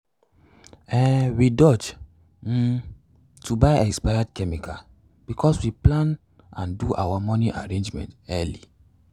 um we dodge um to buy expired plant chemicals because we plan and do our moni arrangement early.